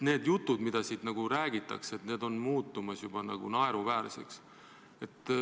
Need jutud, mida siit räägitakse, on muutumas juba naeruväärseks.